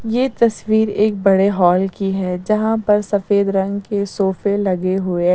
यह तस्वीर एक बड़े हॉल की है जहां पर सफेद रंग के सोफे लगे हुए हैं।